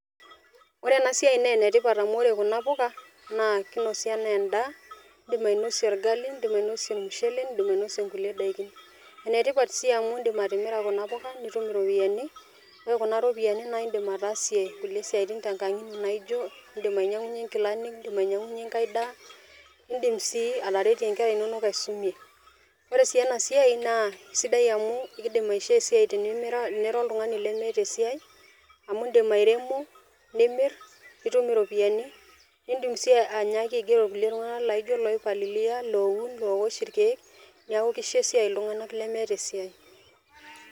Ore ena siai naa ene tipat amu ore kuna puka naa kinosi anaa endaa o indim ainosie orgali, indim ainosie ormushele , indim ainosie inkulie daikin. Ene tipat si amu indip atimira kuna puka nitum iropiyiani , ore kuna ropiyiani naa indim ataasie nkulie siatin tenkang inyi naijo indim ainyiangunyie inkilani, indim ainyiangunyie enkae daa , ndim sii ataretie nkera inonok aisumie. Ore sii ena siai naa sidai amu ekindim aishoo esiai tenimira oltungani lemeeta esiai. amu indim airemo , nimir , nitum iropiyiani , nidim si aigero irkulie tunganak laijo loipalilia, loun, loosh irkiek , niaku kisho esiai , iltunganak lemeeta esiai.